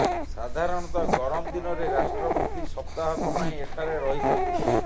ସାଧାରଣତଃ ଗରମ ଦିନରେ ରାଷ୍ଟ୍ରପତି ସପ୍ତାହକ ପାଇଁ ଏଠାରେ ରହିଥାନ୍ତି